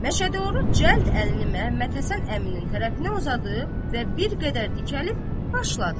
Məşədi Oruc cəld əlini Məhəmmədhəsən əminin tərəfinə uzadıb və bir qədər dikəlib başladı.